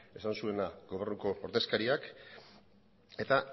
esan zuena gobernuko ordezkariak eta